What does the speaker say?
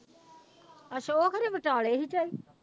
ਅੱਛਾ ਉਹ ਖਰੇ ਵਿਚਾਲੇ ਸੀ ਝਾਈ।